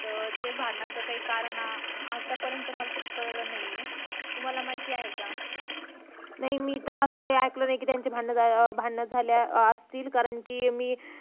त्या भांडणाचं कारण मला आत्ता पर्यंत तरी कळलं नाही ये तुम्हाला माहिती आहे का नाही मी तर असं काही ऐकलं नाही कि त्याचे काही भांडण झाले असतील कारण कि मी